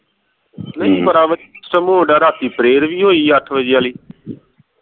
ਨਹੀਂ ਪਤਾ ਸਿਮੂ ਆਂਦਾ ਰਾਤੀ prayer ਵੀ ਹੋਈ ਅੱਠ ਵਜੇ ਵਾਲੀ